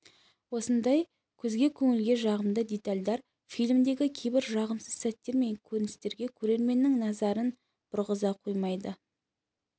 осындай көзге де көңілге жағымды детальдар фильмдегі кейбір жағымсыз сәттер мен көріністерге көрерменнің назарын бұрғыза қоймайды